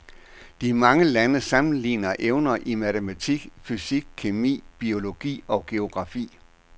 De mange lande sammenligner evner i matematik, fysik, kemi, biologi og geografi.